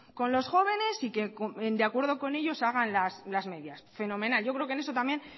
con los jóvenes y que de acuerdo con ellos hagan las medidas fenomenal yo creo que en eso también